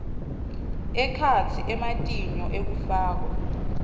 ekhatsi ematinyo ekufakwa